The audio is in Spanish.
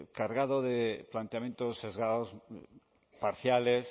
cargado de planteamientos sesgados parciales